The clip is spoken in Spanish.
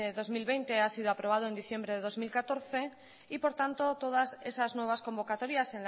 dos mil veinte ha sido aprobado en diciembre de dos mil catorce y por tanto todas esas nuevas convocatorias